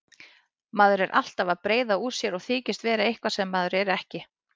Maður er alltaf að breiða úr sér og þykjast vera eitthvað sem maður er ekki.